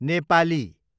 Nepali